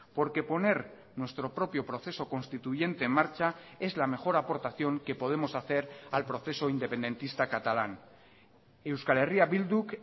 porque poner nuestro propio proceso constituyente en marcha es la mejor aportación que podemos hacer al proceso independentista catalán euskal herria bilduk